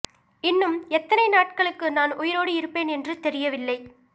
இன்னும் எத்தனை நாட்களுக்கு நான் உயிரோடு இருப்பேன் என்று தெரியவில்லை